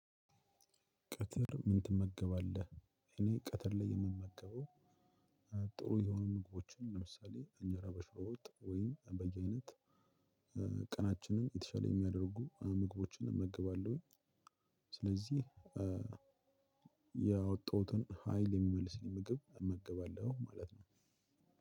ቀትር ምን ትመገባለህ? እኔ ቀትር ላይ የምመገበው። ጥሩ የሆኑ ምግቦችን ለምሳሌ እንጀራ በሽሮወጥ ወይም በየአይነት ቀናችንን የተሻለ የሚያደርጉ ምግቦችን እመገባለሁኝ። ስለዚህ ያወጣሁትን ሀይል የሚመልስልኝ ምግብ እመገባለሁ ማለት ነው።